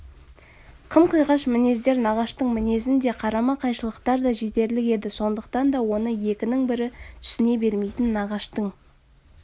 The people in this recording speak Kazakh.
қым-қиғаш мінездер нағаштың мінезінде қарама-қайшылықтар да жетерлік еді сондықтан да оны екінің бірі түсіне бермейтін нағаштың